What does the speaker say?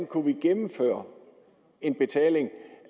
kunne gennemføre en betaling